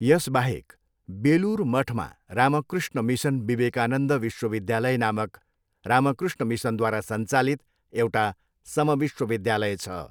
यसबाहेक बेलुर मठमा रामकृष्ण मिसन विवेकानन्द विश्वविद्यालय नामक रामकृष्ण मिसनद्वारा सञ्चालित एउटा समविश्वविद्यालय छ।